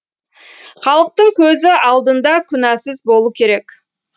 халықтың көзі алдында күнәсіз болу керек